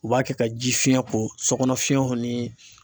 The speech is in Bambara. U b'a kɛ ka jifiyɛn ko sokɔnɔ fiyɛnw ni